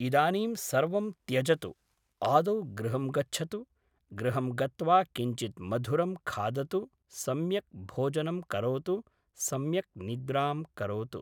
इदानीं सर्वं त्यजतु आदौ गृहं गच्छतु गृहं गत्वा किञ्चित् मधुरं खादतु सम्यक् भोजनं करोतु सम्यक् निद्रां करोतु